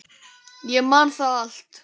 Ég man það allt.